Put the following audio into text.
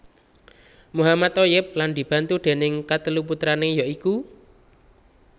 Mohammad Thoyyib lan dibantu déning katelu putrané ya iku